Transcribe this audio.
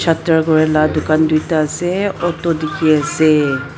la dukaan duita ase auto dekhi ase.